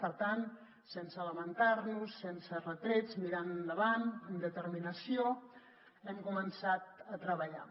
per tant sense lamentar nos sense retrets mirant endavant amb determinació hem començat a treballar